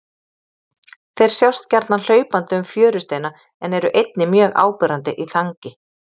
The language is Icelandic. Þeir sjást gjarnan hlaupandi um fjörusteina en eru einnig mjög áberandi í þangi.